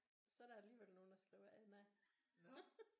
Så er der alligevel nogen der skriver Anna